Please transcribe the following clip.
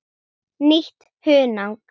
Nýtt hunang.